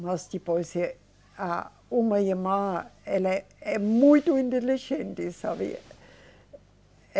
Mas depois, eh, a uma irmã, ela é muito inteligente, sabe